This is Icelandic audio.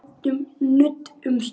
Við ræðum nudd um stund.